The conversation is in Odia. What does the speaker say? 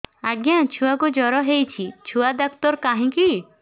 ଆଜ୍ଞା ଛୁଆକୁ ଜର ହେଇଚି ଛୁଆ ଡାକ୍ତର କାହିଁ କି